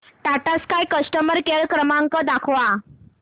Tata Sky customer care क्रमांक दाखवा